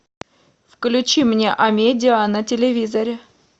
включи мне амедиа на телевизоре